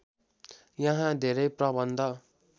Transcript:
यहाँ धेरै प्रबन्ध